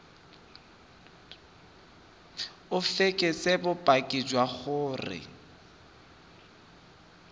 o fekese bopaki jwa gore